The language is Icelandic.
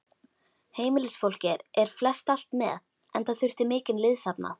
Heimilisfólkið fór flestallt með, enda þurfti mikinn liðsafnað.